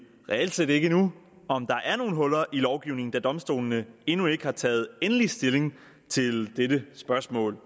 reelt set ikke endnu om der er nogle huller i lovgivningen da domstolene endnu ikke har taget endelig stilling til dette spørgsmål